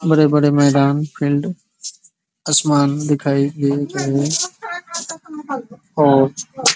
बड़े-बड़े मैदान फील्ड आसमान दिखाई दे रहे है और --